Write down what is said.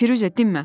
Firuzə dinmə!